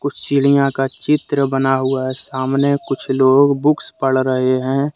चिड़ियां का चित्र बना हुआ हैं सामने कुछ लोग बुक्स पढ रहे है।